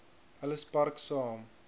ellis park saam